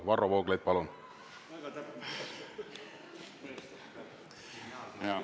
Varro Vooglaid, palun!